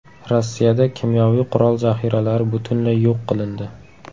Rossiyada kimyoviy qurol zaxiralari butunlay yo‘q qilindi .